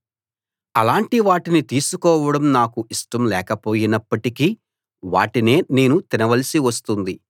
అలాంటి వాటిని తీసుకోవడం నాకు ఇష్టం లేకపోయినప్పటికీ వాటినే నేను తినవలసి వస్తుంది